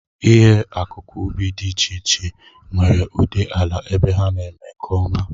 Ihe akụkụ ubi dị iche iche nwere ụdị ala ebe ha na-eme nke ọma